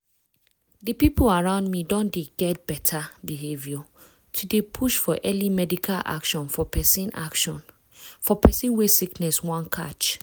di people around me don dey get beta behavior to dey push for early medical action for persin action for persin wey sickness wan catch.